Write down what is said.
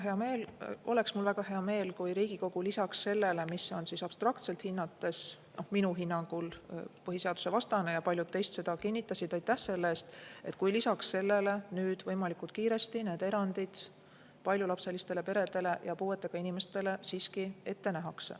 Esiteks oleks mul väga hea meel, kui Riigikogu lisaks sellele abstraktsele hinnangule – minu hinnangul on põhiseadusvastane ja paljud teist seda kinnitasid, aitäh selle eest – nüüd võimalikult kiiresti need erandid paljulapselistele peredele ja puuetega inimestele siiski ette näeks.